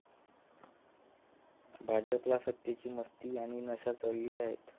भाजपला सत्तेची मस्ती आणि नशा चढली आहे.